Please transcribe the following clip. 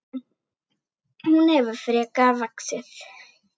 Hún hefur frekar vaxið.